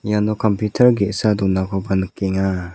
iano kampiutar ge·sa donakoba nikenga.